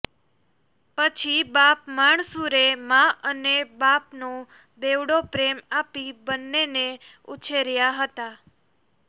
પછી બાપ માણસુરે મા અને બાપનો બેવડો પ્રેમ આપી બંનેને ઉછેર્યાં હતાં